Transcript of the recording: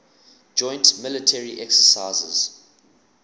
joint military exercises